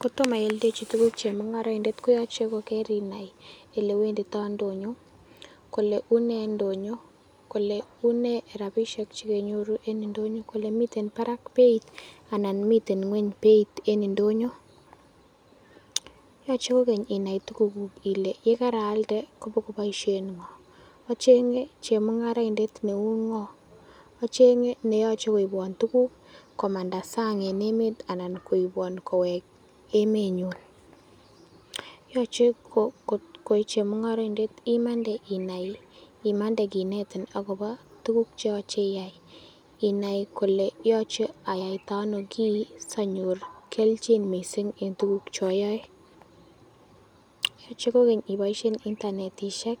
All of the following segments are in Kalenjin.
Kotomo ioldechi tuguk chemung'oroindet koyoche ko kerinai olewendito ndonyo, kole une ndonyo, kole unei rabishek che kenyoru en ndonyo, kole miten barak beit anan miten ng'weny beit en ndonyo? Yoche kogeny inai tugukuk kole ye karaalde kobokoboisien ng'o? Acheng'e chemung'araindet neu ng'o acheng'e neyoche koibwon tuguk komanda sang en emet anan koibwon kowek emenyun? Yoche koi chemung'oroindet imande inai, imande kinetin agobo tuguk che yoche iyai, inai kole yoche ayaita ano kiy sianyor kelchin mising en tuguk che oyoe. Yoche kogeny iboishen internetishek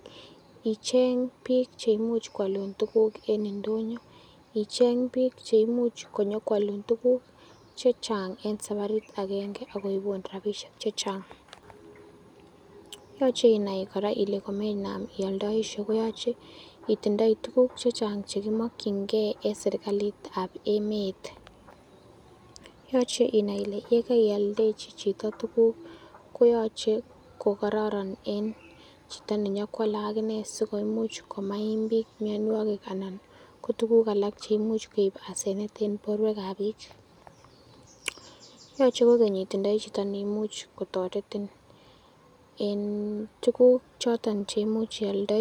icheng biik che imuch koalun tuguk en ndonyo, icheng biik che imuch konyokoalun tuguk che chang en sabarit agenge ak koibun rabisiek chechang. yoche inai kora kole komenam ioldoisie koyache itindoi tuguk che chang che kimokinge en serkalit ab emet. Yoche inai ile ye karioldechi chito tuguk koyache ko kororon en chito nenyokoale ak inee sikomuch komaim mianwogik anan ko tuguk alak cheimuch koib hasenet en borwek ab biik. Yoche kogeny itindoi chito neimuch kotoretin en tuuguk choton cheimuch ioldoi.